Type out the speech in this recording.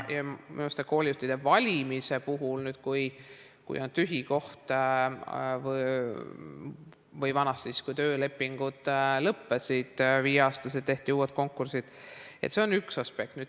Minu meelest on koolijuhtide valimine, kui on tühi koht, või nagu vanasti, kui töölepingud lõppesid ja viie aasta pärast tehti uus konkurss, üks aspekt.